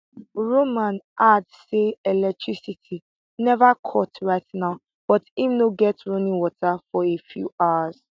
roman add say electricity neva cut right now but im no get running water for a few hours